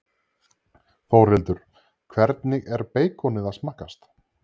Þórhildur: Hvernig er beikonið að smakkast?